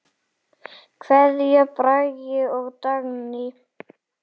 Kveðja, Bragi og Dagný.